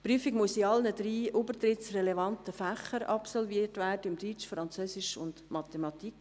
Die Prüfung muss in allen drei übertrittsrelevanten Fächern absolviert werden – Deutsch, Französisch und Mathematik.